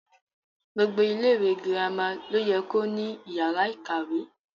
Gbogbo ilẹ ìwé girama lo yẹ ko ní yàrá ìkàwé.